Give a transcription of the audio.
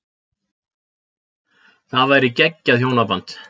Það væri geggjað hjónaband.